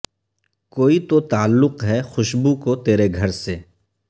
کوئی تو تعلق ہے خوشبو کو ترے گھر سے